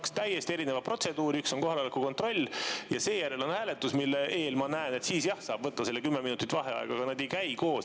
Need on kaks täiesti erinevat protseduuri: üks on kohaloleku kontroll ja seejärel on hääletus, mille eel, ma näen, jah saab võtta selle kümme minutit vaheaega, aga nad ei käi koos.